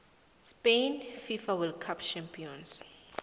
spain fifa world cup champions